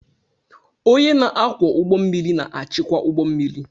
Onye na-akwọ ụgbọ mmiri na-achịkwa ụgbọ mmiri.